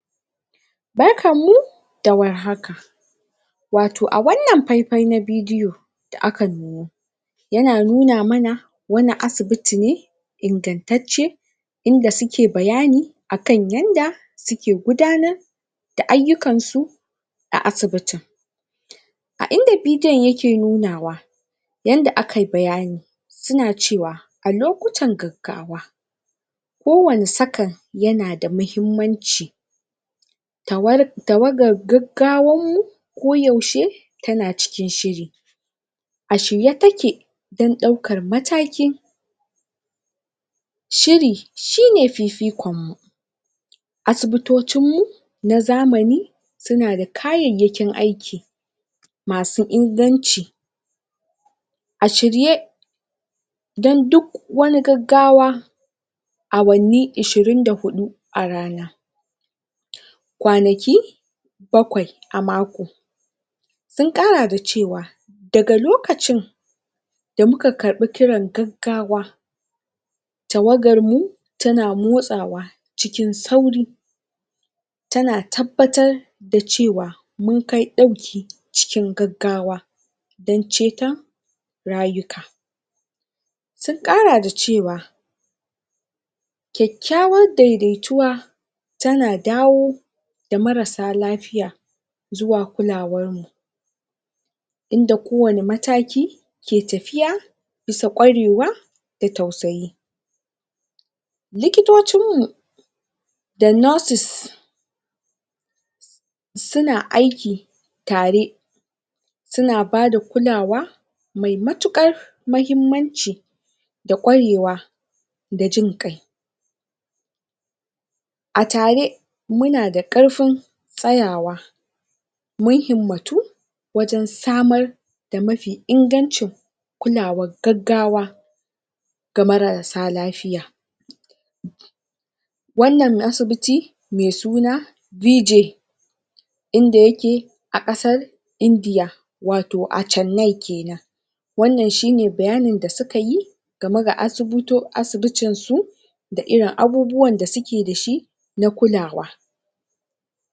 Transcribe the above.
Barkanmu da warhaka wato a wannan faifai na bidiyo da aka nuno yana nuna mana wani asibiti ne ingantacce in da suke bayani akan yadda suke gudanar da ayyukansu na asibitin. a inda bidiyon yake nunawa yadda aka yi bayanin suna cewa a loktan gaggawa kowane second yana da muhimmanci tawagar gaggawarmu koyaushe tana cikin shiri. a shirye take don ɗaukar mataki shiri shi ne fifikonmu asibitocinmu na zamani suna da kayayyakin aiki masu inganci a shirye don duk wani gaggawa awanni ishirin da huɗu a rana kwanaki bakwai a mako sun ƙara da cewa, daga lokacin da muka karɓa kiran gaggawa tawagarmu tana motsawa cikin sauri tana tabbatar da cewa mun kai ɗauki cikin gaggawa don ceton rayuka sun ƙara da cewa kyakkyawar daidaituwa tana dawo da marassa lafiya zuwa kulawarmu. in da kowane mataki ke tafiya bisa warewa da tausayi likitocinmu da nurses suna aiki tare suna ba da kulawa mai matuƙar muhimmanci da ƙwarewa da jin ƙai a tare muna da ƙarfin tsayawa mun himmatu wajen samar da mafi ingancin kulawar gaggawa ga marassa lafiya wannan asibiti mai suna BJ in da yake a ƙasar Indiya a Channai ke nan wannan shi ne bayanin da suka yi game da asibitinsu da irin abubuwan da suke da shi na kulawa.